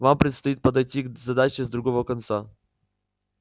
вам предстоит подойти к задаче с другого конца